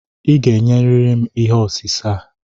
Ị ga-ényerịrị m ihé osise a